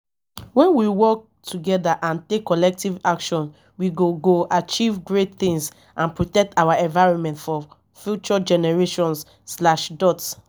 when we work together and take collective action we go go achieve great things and protect our environment for future generations.